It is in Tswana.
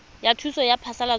ya thuso ya phasalatso ya